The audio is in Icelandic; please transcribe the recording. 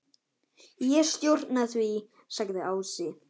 Ég stjórna því, sagði Ási.